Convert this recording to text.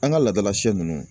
An ka laadala sɛ ninnu